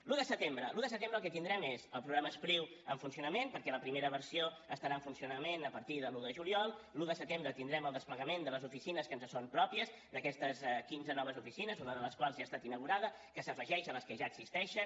l’un de setembre l’un de setembre el que tindrem és el programa e spriu en funcionament perquè la primera versió estarà en funcionament a partir de l’un de juliol l’un de setembre tindrem el desplegament de les oficines que ens són pròpies d’aquestes quinze noves oficines una de les quals ja ha estat inaugurada que s’afegeix a les que ja existeixen